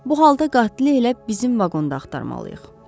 Bu halda qatili elə bizim vaqonda axtarmalıyıq.